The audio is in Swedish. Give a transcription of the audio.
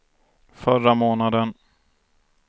förra månaden